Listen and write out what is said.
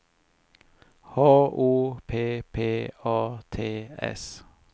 H O P P A T S